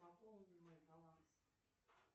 пополни мой баланс